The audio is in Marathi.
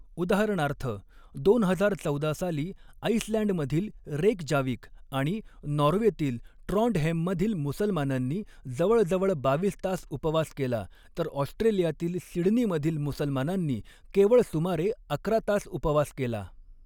उदाहरणार्थ, दोन हजार चौदा साली आइसलँडमधील रेकजाविक आणि नाॅर्वेतील ट्राॅन्डहेममधील मुसलमानांनी जवळजवळ बावीस तास उपवास केला, तर ऑस्ट्रेलियातील सिडनीमधील मुसलमानांनी केवळ सुमारे अकरा तास उपवास केला.